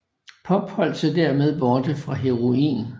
Pop holdt sig dermed borte fra heroin